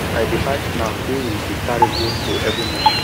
i dey buy snack wey we dey carry go skool every month